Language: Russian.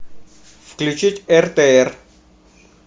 включить ртр